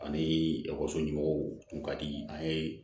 Ani ekɔliso ɲumanw tun ka di an ye